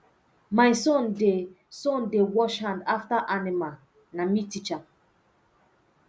my son dey son dey wash hand after animal na me teach am